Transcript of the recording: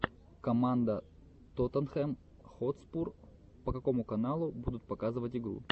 команда тоттенхэм хотспур по какому каналу будут показывать игру